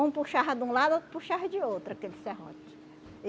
Um puxava de um lado, outro puxava de outro, aquele serrote.